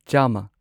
ꯆꯥꯝꯃ